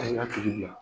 A y'a hakili di yan